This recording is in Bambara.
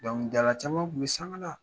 Dɔnkilidala caman kun bi sanga la.